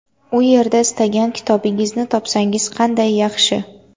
U yerda istagan kitobingizni topsangiz qanday yaxshi.